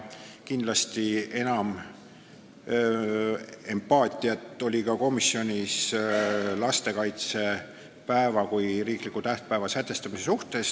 Kindlasti oli komisjonis enam empaatiat lastekaitsepäeva kui riikliku tähtpäeva sätestamise suhtes.